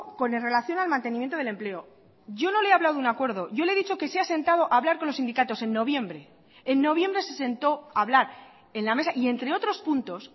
con relación al mantenimiento del empleo yo no le he hablado de un acuerdo yo le he dicho que se ha sentado a hablar con los sindicatos en noviembre en noviembre se sentó a hablar en la mesa y entre otros puntos